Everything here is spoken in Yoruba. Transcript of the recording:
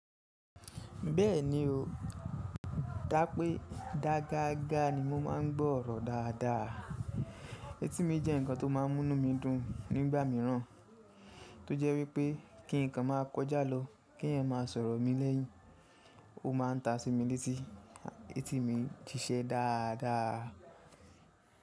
Bẹ́ẹ̀ni o, dá pé dá gágá ni mo máa ń gbọ́ ọ̀rọ̀ dáadáa. Étí mi jẹ́ ǹkan tó máa ń múnú mi dun nígbà míràn tó jẹ́ wípé kí ǹkan máa kọjá lọ, kí ẹ̀yàn máa sọ̀rọ̀ mi lẹ́yìn, ó ma ń ta sí mi létí, étí mi ń ṣiṣẹ́ dáadáa.